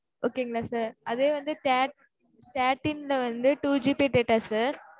Okay ங்களா sir அதே வந்து thirteen ல வந்து two GB data sir